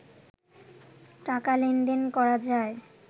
টাকা লেনদেন করা যায়